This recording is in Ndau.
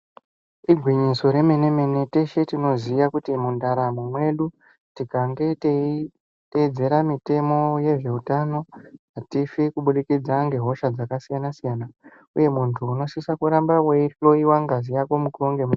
Igwinyiso remene mene teshe tinoziya kuti mundaramo mwedu tikange tetitedzera mitemo yezveutano atifi kubudikidza nehosha dzakasiyana siyana uye muntu unosise kuramba weihloyiwa ngazi yako mukuwo ngemukuwo.